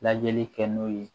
Lajɛli kɛ n'o ye